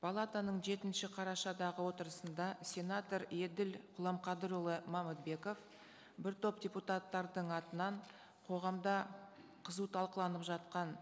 палатаның жетінші қарашадағы отырысында сенатор еділ құламқадырұлы мамытбеков бір топ депутаттардың атынан қоғамда қызу талқыланып жатқан